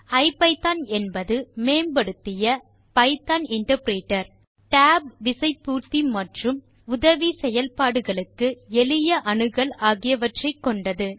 ஐபிதான் என்பது மேம்படுத்திய Python interpreter tab விசை பூர்த்தி மற்றும் உதவி செயல்பாடுகளுக்கு எளிய அணுகல் ஆகியவற்றை கொண்டது